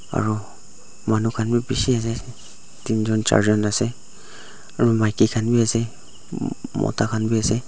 aru manu khan bi bishi ase tinjun charjun ase aru maiki khan bi ase mota khan bi ase.